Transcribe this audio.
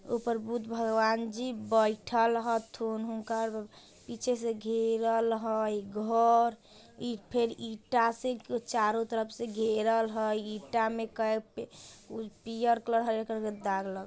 ऊपर बुद्ध भागवान जी बैठेल हथुन पीछे से गेहरल हई घर फ़िर ईटा से चारो तरफ से गेहरल हई ईटा में कई पे पियर कलर का दाग लगा --